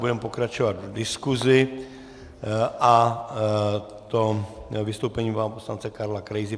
Budeme pokračovat v diskusi, a to vystoupením pana poslance Karla Krejzy.